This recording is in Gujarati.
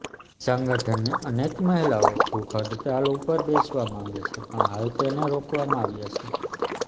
સંગઠનની અનેક મહિલાઓ ભૂખ હડતાલ ઉપર બેસવા માંગે છે પણ હાલ તેને રોકવામાં આવ્યા છે